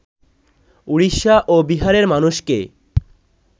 উড়িষ্যা ও বিহারের মানুষকে